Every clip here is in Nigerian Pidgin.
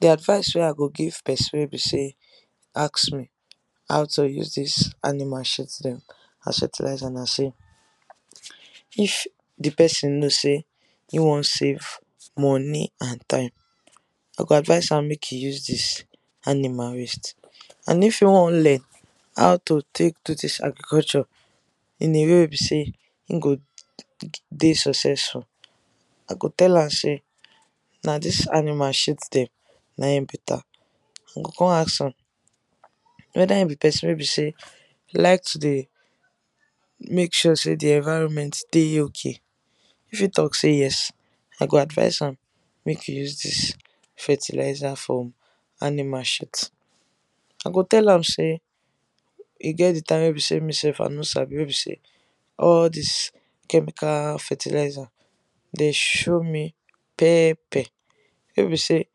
The advice wey I go give person wey be say ask me how to use this animal shit dem as fertiliser na say if d person know say he wan save money and time, I go advice am make he use this animal waste. And if he wan learn how to take do this agriculture in a way wey be say e go de successful, I go tell am say na this animal shit dem na him better. I go come ask am whether he be person wey be say like to dey make sure say d environment de okay? if he talk say yes, I go advice am make he use this fertiliser from animal shit, I go tell am say e get d time wey be say me sef I no sabi wey be say all this chemical fertiliser dey show me pepper, wey be say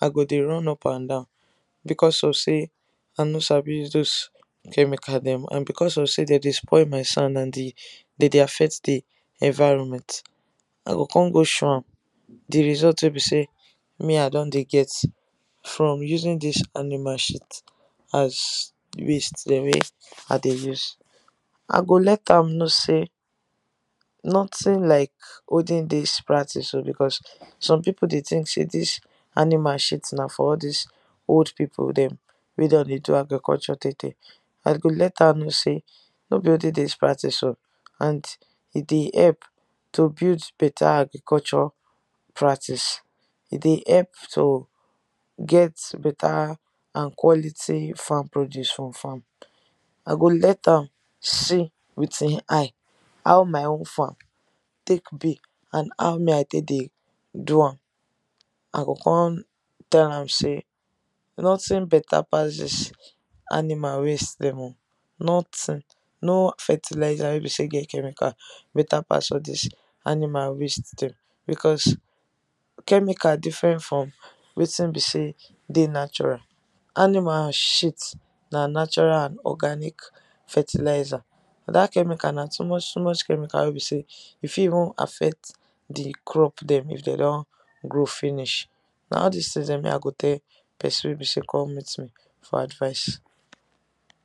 I go de run up and down because of say I no sabi use those chemical dem and because of say dey de spoil my sand and they de affect d environment. I go come go show am d result wey be say me I don de get from using this animal shit as waste dem wey I de use, I go let am know say nothing like olden days practice o because some people de think say this animal shit na for all dis old people dem wey don de do agriculture tey tey, I go let am know say no be olden days practice o and e de help to build better agriculture practice, E de help to get better and quality farm produce from farm. I go let am see with e eye, how my own farm take be and how me I take de do am. I go come tell am say nothing better pass dis animal waste dem o, Nothing! no fertiliser wey be say get chemical better pass all dis animal waste dem because chemical different from wetin be say de natural, animal shit na natural and organic fertiliser. That chemical na too much too much chemical wey be say e fit even affect d crop dem if dem don grow finish. Na all things dem me I go tell person wey be say come meet me for advice.